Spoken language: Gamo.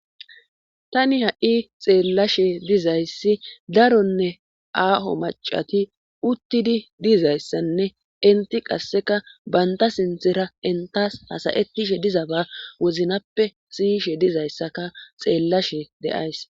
tani ha7i xeellashe dizayssi daronne aaho macati uttidi dizayssanne inti qasseka banta sinthera intas hasayettishe diza ba woznappe siyishe dizayssaka xeellashe de7ays